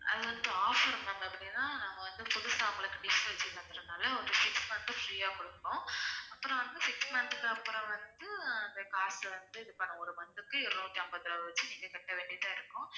அது வந்து offer ma'am அப்படின்னா நம்ம வந்து புதுசா உங்களுக்கு dish வச்சு தந்ததுனால ஒரு six month free யா கொடுப்போம் அப்பறம் வந்து six month க்கு அப்பறம் வந்து அந்த card அ வந்து இது பண்ணுவோம் ஒரு month க்கு இருநூற்று ஐம்பத்து ஆறு வச்சி நீங்க கட்ட வேண்டியதா இருக்கும்